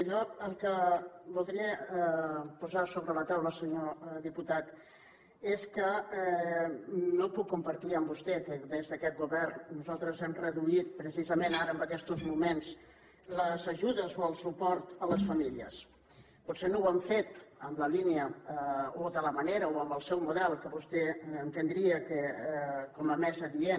jo el que voldria posar sobre la taula senyor diputat és que no puc compartir amb vostè que des d’aquest govern nosaltres hem reduït precisament ara en aquestos moments les ajudes o el suport a les famílies potser no ho hem fet en la línia o de la manera o amb el seu model que vostè entendria com a més adient